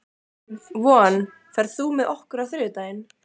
Von, ferð þú með okkur á þriðjudaginn?